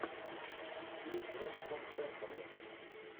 фильм с робертом редфордом